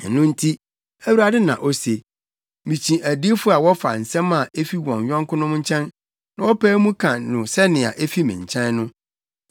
“Ɛno nti,” Awurade na ose, “mikyi adiyifo a wɔfa nsɛm a efi wɔn yɔnkonom nkyɛn, na wɔpae mu ka no sɛnea efi me nkyɛn no.